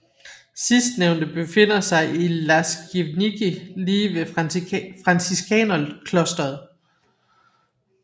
Sidstnævnte befinder sig i Las Łagiewnicki lige ved Franciskanerklostret